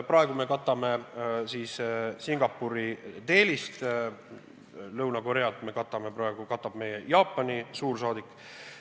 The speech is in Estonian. Praegu me katame Singapuri Delhist, Lõuna-Koread katab meie Jaapani suursaadik.